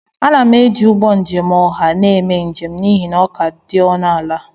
Ana m eji ụgbọ njem ọha na-eme njem n'ihi na ọ ka dị ọnụ ala